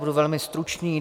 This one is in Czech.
Budu velmi stručný.